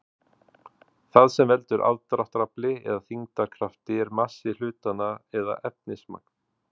það sem veldur aðdráttarafli eða þyngdarkrafti er massi hlutanna eða efnismagn